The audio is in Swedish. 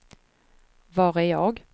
var är jag